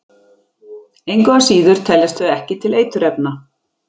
Engu að síður teljast þau ekki til eiturefna.